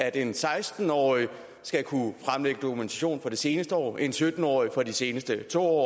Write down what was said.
at en seksten årig skal kunne fremlægge dokumentation for det seneste år en sytten årig for de seneste to år